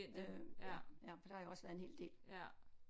Øh ja for der har jeg også været en hel del